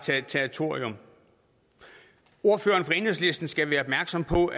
territorium ordføreren for enhedslisten skal være opmærksom på